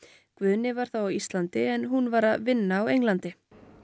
Guðni var þá á Íslandi en hún var að vinna á Íslandi